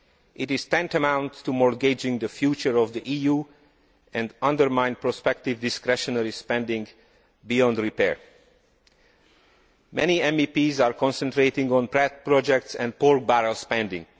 It is tantamount to mortgaging the future of the EU and undermining prospective discretionary spending beyond repair. Many MEPs are concentrating on pet projects and pork barrel spending.